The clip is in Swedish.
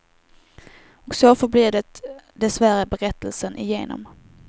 Och så förblir det dessvärre berättelsen igenom.